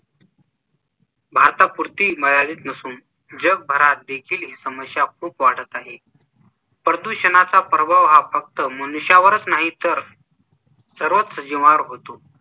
भारतापुरती मर्यादित नसून जगभरात देखील ही समस्या खूप वाढत आहे. प्रदूषणाचा प्रभाव हा फक्त मनुष्यावरच नाही तर सर्वच सजीवांवर होतो.